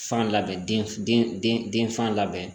Fan labɛn den denfa labɛn